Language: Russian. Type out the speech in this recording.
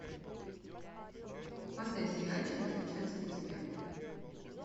поставь сериальчик достучаться до тебя